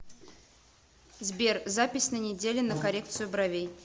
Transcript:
сбер запись на неделе на коррекцию бровей